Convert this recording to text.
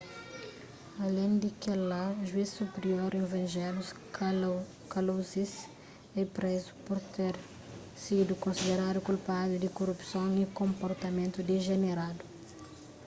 alén di kel-la juiz supirior evangelos kalousis é prézu pur ter sidu konsideradu kulpadu di korupson y konportamentu dijeneradu